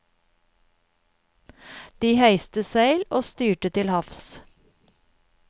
De heiste seil og styrte til havs.